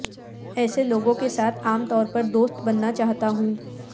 ایسے لوگوں کے ساتھ عام طور پر دوست بننا چاہتا ہوں